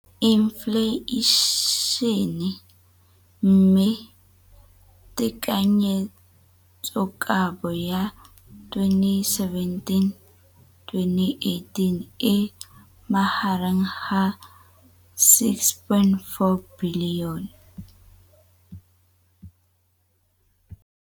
Infleišene, mme tekanyetsokabo ya 2017, 18, e magareng ga R6.4 bilione.